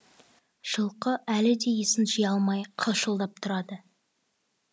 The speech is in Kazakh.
жылқы әлі де есін жыя алмай қалшылдап тұрады